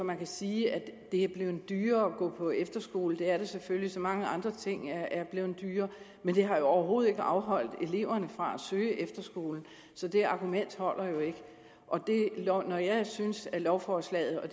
man kan sige at det er blevet dyrere at gå på efterskole det er det selvfølgelig så mange andre ting er blevet dyrere men det har overhovedet ikke afholdt eleverne fra at søge efterskole så det argument holder jo ikke når jeg synes at lovforslaget er